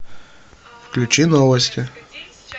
включи новости